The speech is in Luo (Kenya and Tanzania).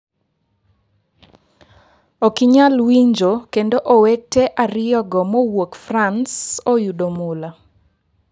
Ok inyal winjo kendo owete ariyogo mowuok frans oyudo mula!